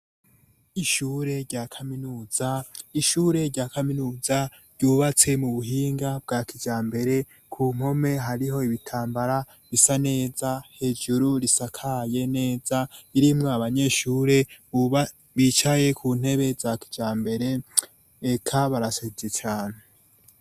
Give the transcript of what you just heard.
Ishure rya kaminuza, ishure rya kaminuza ryubatse mu buhinga bwa kijambere ku nkome hariho ibitambara bisa neza hejuru risakaye neza, irimo abanyeshure bicaye ku ntebe za kijambere eka barasajije Cane.